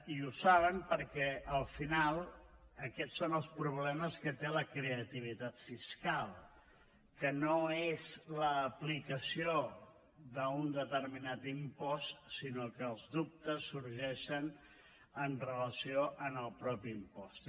i ho saben perquè al final aquests són els problemes que té la creativitat fiscal que no és l’aplicació d’un determinat impost sinó que els dubtes sorgeixen amb relació al mateix impost